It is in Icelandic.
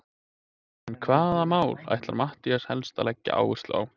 En hvaða mál ætlar Matthías helst að leggja áherslu á?